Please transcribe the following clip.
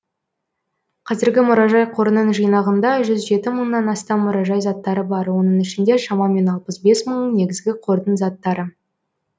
қазіргі мұражай қорының жинағында жүз жеті мыңнан астам мұражай заттары бар оның ішінде шамамен алпыс бес мың негізгі қордың заттары